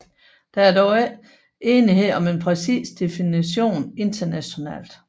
Der er dog ikke enighed om en præcis definition internationalt